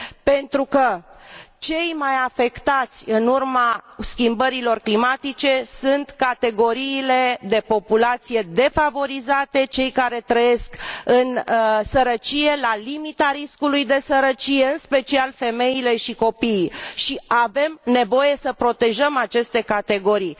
Pentru că cele mai afectate în urma schimbărilor climatice sunt categoriile de populație defavorizate, cei care trăiesc în sărăcie și la limita riscului de sărăcie, în special femeile și copiii. Avem nevoie să protejăm aceste categorii.